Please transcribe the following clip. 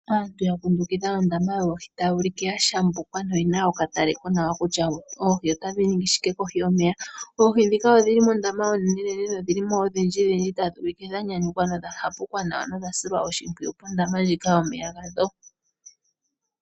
Aantu yakundukidha ondama yoohi taya ulike ya shambukwa noye na okatale konawa kutya oohi otadhi ningi shike kohi yomeya, oohi ndhika odhili mondama onenenene na odhili mo odhindjidhindji tadhi ulike dhanyanyukwa na odha hapuka nawa na odha silwa oshipwiyu pondama yomeya gadho.